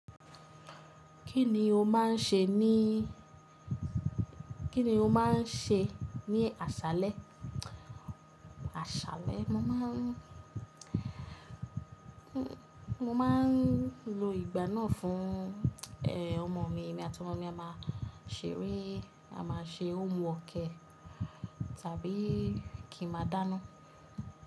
Kí ni o máa ń ṣe ní, kí ni o máa ń ṣe ní àṣálẹ́? Àṣálẹ́, mo máa ń, mo máa ń lo ìgbà náà fún, ẹ, ọmọ mi, èmi àti ọmọ mi a máa ṣeré, a máa ṣe hóme work e, tàbí kí a máa dáná.